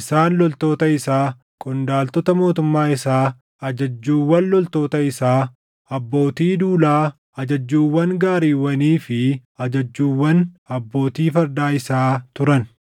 isaan loltoota isaa, qondaaltota mootummaa isaa, ajajjuuwwan loltoota isaa, abbootii duulaa, ajajjuuwwan gaariiwwanii fi ajajjuuwwan abbootii fardaa isaa turan.